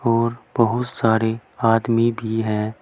और बहुत सारे आदमी भी है।